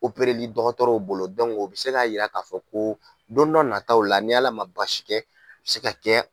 li dɔgɔtɔrɔw bolo o bɛ se k'a jira k'a fɔ ko don dɔ nataw la ni Ala ma baasi kɛ se ka kɛ